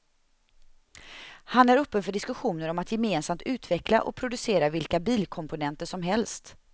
Han är öppen för diskussioner om att gemensamt utveckla och producera vilka bilkomponenter som helst.